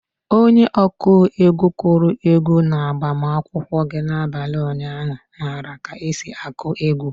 Onye ọkụ egwu kụrụ egwu na-agbamakwụkwọ gị na-abalị ụnyaahụ mara ka esi akụ egwu.